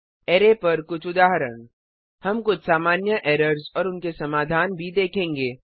array पर कुछ उदाहरण हम कुछ सामान्य एरर्स और उनके समाधान भी देखेंगे